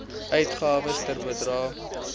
uitgawes ter bedrae